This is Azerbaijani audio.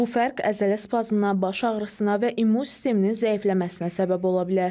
Bu fərq əzələ spazmına, baş ağrısına və immun sisteminin zəifləməsinə səbəb ola bilər.